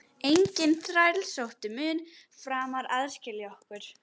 Enginn þrælsótti mun framar aðskilja okkur.